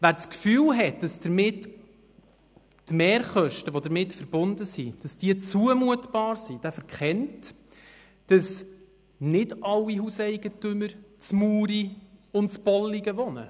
Wer das Gefühl hat, dass die damit verbundenen Mehrkosten zumutbar sind, verkennt, dass nicht alle Hauseigentümer in Muri und in Bolligen wohnen.